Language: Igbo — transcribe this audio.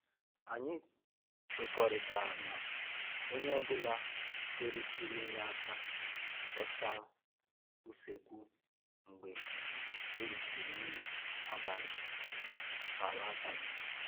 Anyị kwekọrịtara na onye ọ bụla kwerisịr inye aka kpochaa usekwu mgbe erisịrị nri abalị kwa abalị